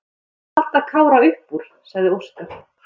Ég reyndi að halda Kára upp úr, sagði Óskar.